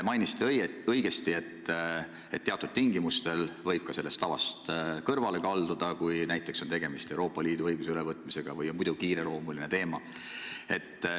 Märkisite õigesti, et teatud juhtudel võib sellest tavast kõrvale kalduda, näiteks kui on tegemist Euroopa Liidu õigusaktide ülevõtmisega või on muidu kiireloomuline asi.